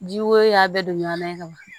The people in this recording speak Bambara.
Ji woyo y'a bɛɛ don ɲamanban ye ka ban